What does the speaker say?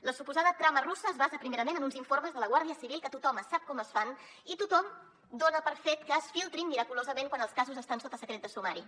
la suposada trama russa es basa primerament en uns informes de la guàrdia civil que tothom sap com es fan i tothom dona per fet que es filtrin miraculosament quan els casos estan sota secret de sumari